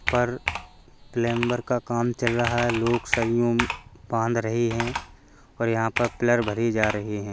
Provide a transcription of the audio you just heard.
पर प्लेम्बर का काम चल रहा है लोग सरियों बांध रहे हैं और यहाँ पर पिलर भरे जा रहे हैं।